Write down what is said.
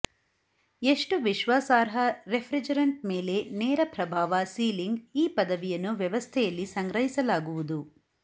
ಎಷ್ಟು ವಿಶ್ವಾಸಾರ್ಹ ರಿಫ್ರಿಜರೆಂಟ್ ಮೇಲೆ ನೇರ ಪ್ರಭಾವ ಸೀಲಿಂಗ್ ಈ ಪದವಿಯನ್ನು ವ್ಯವಸ್ಥೆಯಲ್ಲಿ ಸಂಗ್ರಹಿಸಲಾಗುವುದು